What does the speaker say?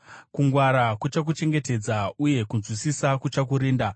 Kungwara kuchakuchengetedza, uye kunzwisisa kuchakurinda.